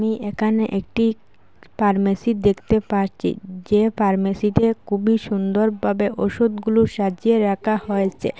একানে একটি পার্মেসি দেখতে পারচি যে পার্মেসিতে কুবই সুন্দরভাবে ওষুধ গুলো সাজিয়ে রাকা হয়েচে।